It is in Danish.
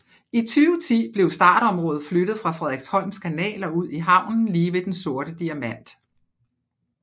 I 2010 blev startområdet flyttet fra Frederiksholms Kanal og ud i havnen lige ved Den Sorte Diamant